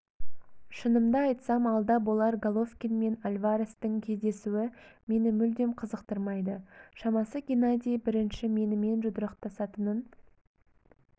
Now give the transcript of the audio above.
шынымды айтсам алда болар головкин мен альварестің кездесуі мені мүлдем қызықтырмайды шамасы геннадий бірінші менімен жұдырықтасатынын